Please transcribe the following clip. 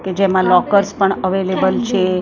કે જેમાં લોકર્સ પણ અવેલેબલ છે અને--